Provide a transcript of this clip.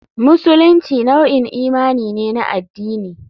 Musulunci nau'in imani ne na addini.